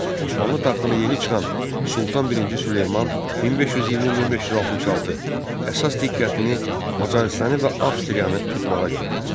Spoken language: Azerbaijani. Osmanlı taxtına yeni çıxan Sultan I Süleyman 1520-1566 əsas diqqətini Macarıstanı və Avstriyanı tutmağa yönəltdi.